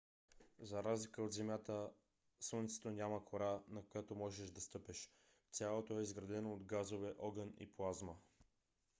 за разлика от земята слънцето няма кора на която можеш да стъпиш. цялото е изградено от газове огън и плазма